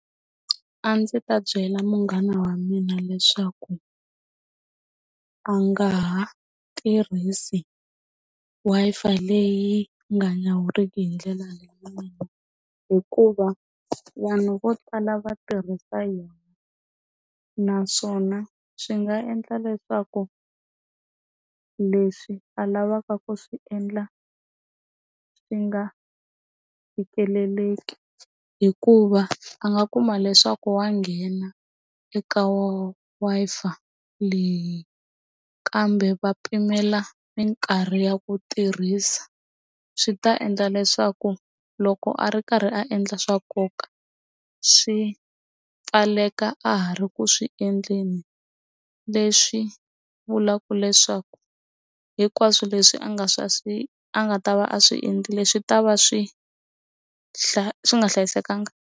A ndzi ta byela munghana wa mina leswaku a nga ha tirhisi Wi-Fi leyi nga nyawuriki hi ndlela hikuva vanhu vo tala va tirhisa yona naswona swi nga endla leswaku leswi a lavaka ku swi endla swi nga fikeleleki hikuva a nga kuma leswaku wa nghena eka wa Wi-Fi leyi kambe va pimela mikarhi ya ku tirhisa swi ta endla leswaku loko a ri karhi a endla swa nkoka swi pfaleka a ha ri ku swi endleni leswi vulaka leswaku hinkwaswo leswi a nga a nga ta va a swi endlile swi ta va swi hla swi nga hlayisekanga.